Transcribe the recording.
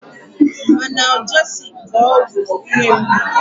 Analjesik bụ ọgwụ ihe mgbu.